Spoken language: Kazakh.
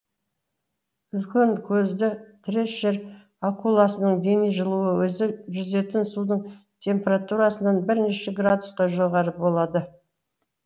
үлкенкөзді трешер акуласының дене жылуы өзі жүзетін судың температурасынан бірнеше градусқа жоғары болады